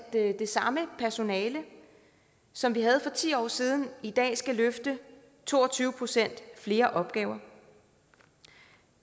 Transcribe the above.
at det samme personale som vi havde for ti år siden i dag skal løfte to og tyve procent flere opgaver